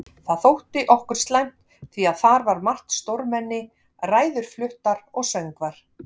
Það þótti okkur slæmt því að þar var margt stórmenni, ræður fluttar og söngvar.